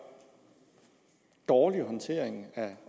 dårlig håndtering af